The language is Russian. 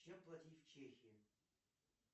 чем платить в чехии